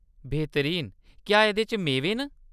बेहतरीन ! क्या एह्‌‌‌दे च मेवे न ?